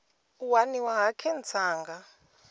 u waniwa ha khentsa nga